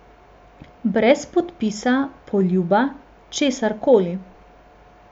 Brez podpisa, poljuba, česar koli.